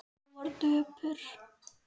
Hún var döpur.